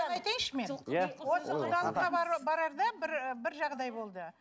айтайыншы мен иә осы құдалыққа барарда бір і бір жағдай болды